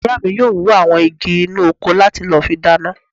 Ìyá mi yóò wú àwọn igi inú oko láti lọ fi dáná